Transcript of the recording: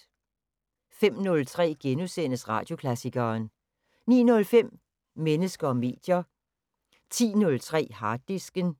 05:03: Radioklassikeren * 09:05: Mennesker og medier 10:03: Harddisken